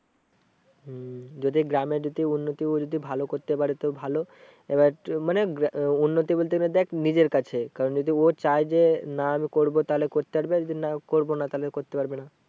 যদি গ্রামে যদি উন্নতি ও যদি ভালো করতে পারে তো ভালো এবার মানে উন্নতি বলতে গেলে দেখ নিজের কাছে কারণ যদি ও চায় যে না আমি করবো তাহলে করতে পারবে আর যদি না করবো না তাহলে করতে পারবে না।